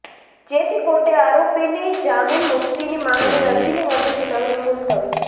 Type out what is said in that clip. જેથી કોર્ટે આરોપીની જામીનમુક્તિની માંગની અરજીની વધુ સુનાવણી મુલત્વી